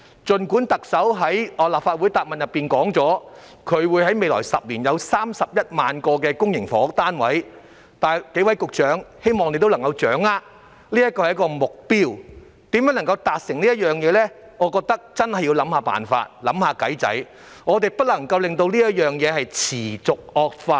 儘管特首在立法會答問會內表示，政府在未來10年會供應31萬個公營房屋單位，但我希望諸位局長能夠掌握，特首說的是一個目標，至於如何能夠達成，我認為真的要想想辦法，不能夠讓問題持續惡化。